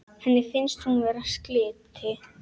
Henni finnst hún vera slytti.